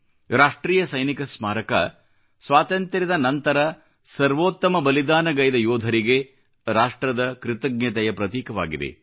ರಾಷ್ಟ್ರೀಯ ಸೈನಿಕ ಸ್ಮಾರಕ ಸ್ವಾತಂತ್ರ್ಯದ ನಂತರ ಸರ್ವೋತ್ತಮ ಬಲಿದಾನಗೈದ ಯೋಧರಿಗೆ ರಾಷ್ಟ್ರದ ಕೃತಜ್ಞತೆಯ ಪ್ರತೀಕವಾಗಿದೆ